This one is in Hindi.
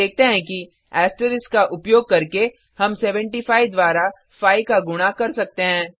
हम देखते हैं कि एस्टरिस्क का उपयोग करके हम 75 द्वारा 5 का गुणा कर सकते हैं